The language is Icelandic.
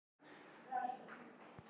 Eldvörnum ábótavant á heimilum